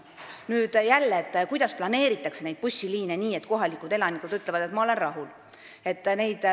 Aga jällegi, kuidas planeerida bussiliine nii, et kohalikud elanikud oleksid rahul?